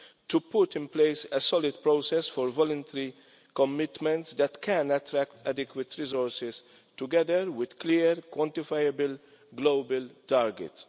to put in place a solid process for voluntary commitments that can attract adequate resources, together with clear, quantifiable global targets.